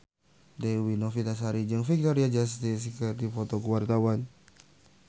Dewi Novitasari jeung Victoria Justice keur dipoto ku wartawan